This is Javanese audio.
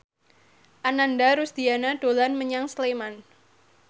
Ananda Rusdiana dolan menyang Sleman